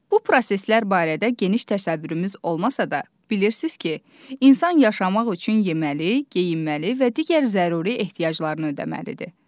Bu proseslər barədə geniş təsəvvürümüz olmasa da, bilirsiniz ki, insan yaşamaq üçün yeməli, geyinməli və digər zəruri ehtiyaclarını ödəməlidir.